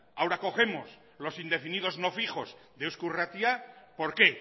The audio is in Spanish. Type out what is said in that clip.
ahora cogemos los indefinidos no fijos de eusko irratia por qué